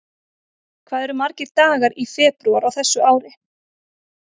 Hvað eru margir dagar í febrúar á þessu ári?